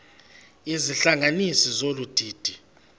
izihlanganisi zolu didi